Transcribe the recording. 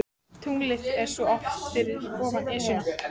Tunglið er svo oft fyrir ofan Esjuna.